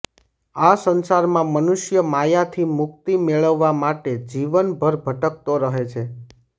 આ સંસારમાં મનુષ્ય માયાથી મુક્તિ મેળવવા માટે જીવન ભર ભટકતો રહે છે